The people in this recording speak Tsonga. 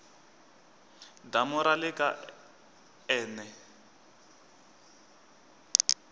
damu ra le ka n